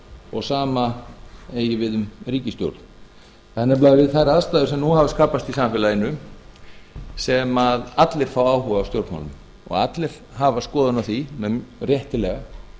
og sama eigi við um ríkisstjórn það er nefnilega við þær aðstæður sem nú hafa skapast í samfélaginu sem allir fá áhuga á stjórnmálum og allir hafa skoðun á því réttilega